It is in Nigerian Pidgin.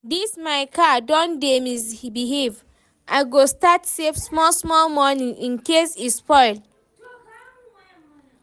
this my car don dey misbehave, I go start save small small money Incase e spoil